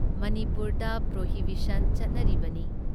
ꯃꯅꯤꯄꯨꯔꯗ ꯄ꯭ꯔꯣꯍꯤꯕꯤꯁꯟ ꯆꯠꯅꯔꯤꯕꯅꯤ ꯫